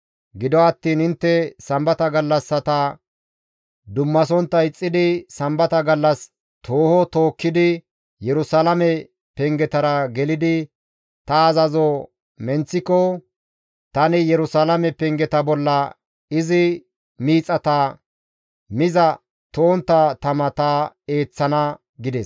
Gido attiin intte Sambata gallassata dummasontta ixxidi sambata gallas tooho tookkidi Yerusalaame pengetara gelidi ta azazo menththiko tani Yerusalaame pengeta bolla izi miixata miza to7ontta tama ta eeththana» gides.